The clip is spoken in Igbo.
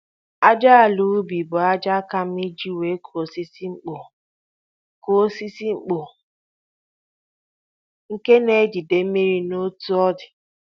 Ájá àlà ubi bụ ájá ka mma iji wéé kụọ osisi mkpọ, kụọ osisi mkpọ, nke na-ejide mmiri na otú ọ dị